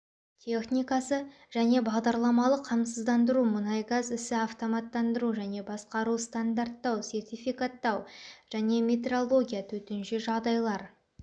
техникасы және бағдарламалық қамтамасыздандыру мұнайгаз ісі автоматтандыру және басқару стандарттау сертификаттау және метрология төтенше жағдайлар